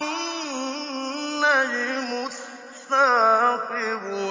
النَّجْمُ الثَّاقِبُ